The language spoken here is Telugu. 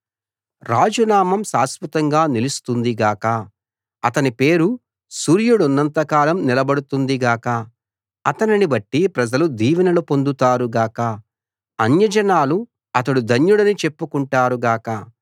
రాజు నామం శాశ్వతంగా నిలుస్తుంది గాక అతని పేరు సూర్యుడున్నంత కాలం నిలబడుతుంది గాక అతనిని బట్టి ప్రజలు దీవెనలు పొందుతారు గాక అన్యజనాలు అతడు ధన్యుడని చెప్పుకుంటారు గాక